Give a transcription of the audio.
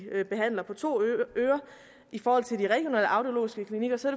behandler på to ører i forhold til de regionale audiologiske klinikker så